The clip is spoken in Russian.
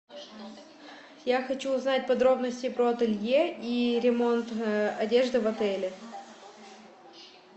я хочу узнать подробности про ателье и ремонт одежды в отеле